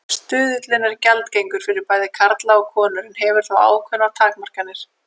Stuðullinn er gjaldgengur fyrir bæði karla og konur en hefur þó ákveðnar takmarkanir.